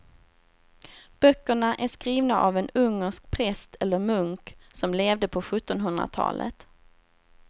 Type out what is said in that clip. Böckerna är skrivna av en ungersk präst eller munk som levde på sjuttonhundratalet.